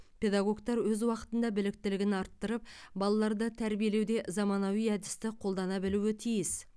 педагогтар өз уақытында біліктілігін арттырып балаларды тәрбиелеуде заманауи әдісті қолдана білуі тиіс